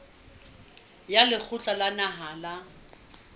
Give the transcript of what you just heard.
wa lekgotla la naha la